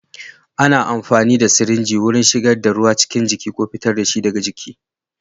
Ana amfani da sirinji wajen shigar da ruwa cikin jiki ko fitar da shi daga jiki.